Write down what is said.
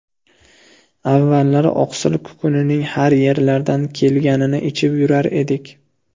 Avvallari oqsil kukunining har yerlardan kelganini ichib yurar edik.